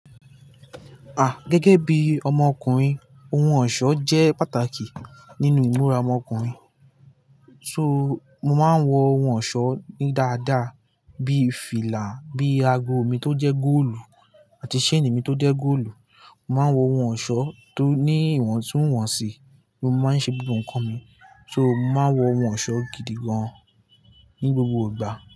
Ah! Gẹ́gẹ́ bí ọmọkùnrin ohun ọ̀ṣọ́ jẹ́ pàtàkì nínú ìmúra ọmọkùnrin. So mo máa ń wọ ohun ọ̀ṣọ́ ní dáadáa bí fìlà, bí ago mi tó jẹ́ góòlù àti ṣéènì mi tó jẹ́ góòlù. Mo máa ń wọ ohun ọ̀ṣọ́ tó ní ìwọ̀ntúnwọ̀nsì bí mo má ń ṣe gbogbo ǹkan mi. So mo máa ń wọ ohun ọ̀ṣọ́ gidi gan ní gbogbo ìgbà.